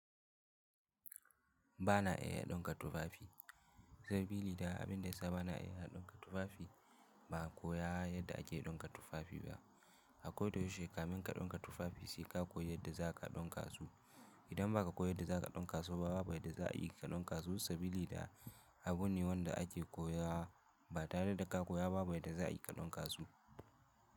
Ba na iya ɗinka tufafi saboda abin da ya sa ba na iya ɗinka tufafi ba koya yadda ake ɗinka tufafi ba. Ko da yaushe kafin kaɗinka tufafi sai ka koyi yadda za ka ɗinka su. Idan ba ka koyi yadda za ka ɗinka su ba, babu yadda za a yi ka ɗinka su sabili da abune wanda ake koya ba tare da ka koya ba babu yadda za a yi ka ɗinka su.